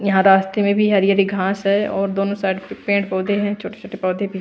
यहां रास्ते में भी हरी-हरी घास है और दोनों साइड पे पेड़ पौधे हैं छोटे-छोटे पौधे भी--